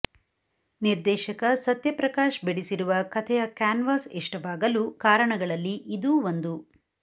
ನಿರ್ದೇಶಕ ಸತ್ಯಪ್ರಕಾಶ್ ಬಿಡಿಸಿರುವ ಕಥೆಯ ಕ್ಯಾನ್ವಾಸ್ ಇಷ್ಟವಾಗಲು ಕಾರಣಗಳಲ್ಲಿ ಇದೂ ಒಂದು